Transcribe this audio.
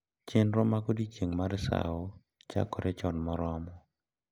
Chenro mag Odiechieng’ mar sawo chakore chon moromo.